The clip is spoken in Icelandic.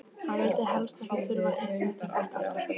Hann vildi helst ekki þurfa að hitta þetta fólk aftur!